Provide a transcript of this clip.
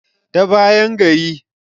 ta bayan gari